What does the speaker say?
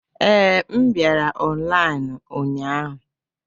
Ee, m bịara ọnlaịnu ụnyahụ.